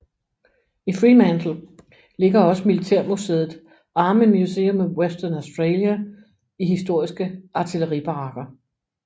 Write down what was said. I Fremantle ligger også militærmuseet Army Museum of Western Australia i historiske artilleribarakker